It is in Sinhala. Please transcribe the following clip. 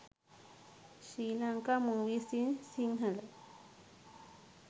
sri lanka movies in sinhala